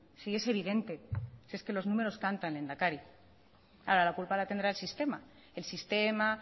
si es evidente si es que los números cantan lehendakari ahora la culpa la tendrá el sistema el sistema